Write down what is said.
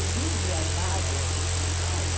Os rios e as varjas de São Paulo,